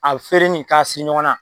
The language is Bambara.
A feerenin k'a siri ɲɔgɔn na.